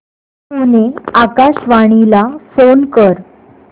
पुणे आकाशवाणीला फोन कर